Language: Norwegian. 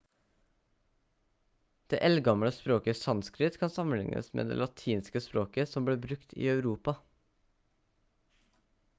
det eldgamle språket sanskrit kan sammenlignes med det latinske språket som ble brukt i europa